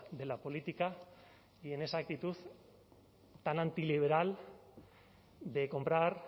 de la política y en esa actitud tan antiliberal de comprar